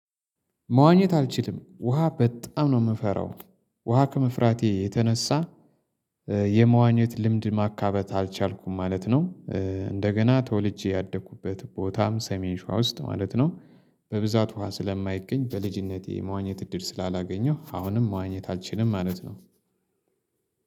መዋኘት አልችልም ውሃ በጣም ነው የምፈራው። ውሃ ከመፍራቴ የተነሳ የመዋኘት ልምድ ማካበት አልቻልኩም ማለት ነው። እንደገና ተወልጄ ያደኩበት ቦታም ሰሜን ሸዋ ውስጥ ማለት ነው በብዛት ውሃ ስለማይገኝ በልጅነቴ መዋኘት እድል ስላላገኘው አሁንም መዋኘት አልችልም ማለት ነው።